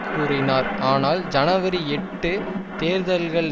கூறினார் ஆனால் ஜனவரி எட்டு தேர்தல்கள்